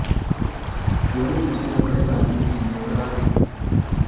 दोनों मुझे कपड़े पहनने के लिए सलाह देती थी